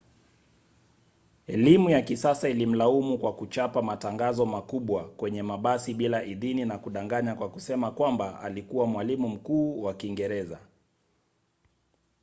elimu ya kisasa ilimlaumu kwa kuchapa matangazo makubwa kwenye mabasi bila idhini na kudanganya kwa kusema kwamba alikuwa mwalimu mkuu wa kiingereza